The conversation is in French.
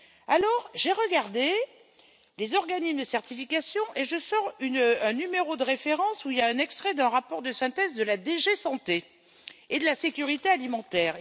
Alors, j'ai regardé les organismes de certification et je sors un numéro de référence où il y a un extrait d'un rapport de synthèse de la DG Santé et sécurité alimentaire.